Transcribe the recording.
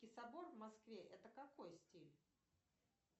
собор в москве это какой стиль